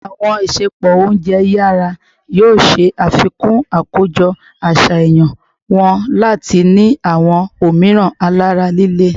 Awọn isẹpo ounjẹ yara yoo ṣe afikun akojọ aṣayan wọn lati ni awọn omiiran alara lile